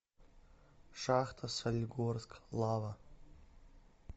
шахта солигорск лава